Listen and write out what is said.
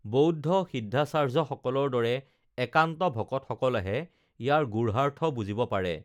বৌদ্ধ সিদ্ধাচাৰ্যসকলৰ দৰে একান্ত ভকতসকলেহে ইয়াৰ গূঢ়াৰ্থ বুজিব পাৰে